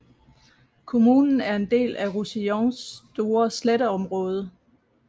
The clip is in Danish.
Kommunen er en del af Roussillons store sletteområde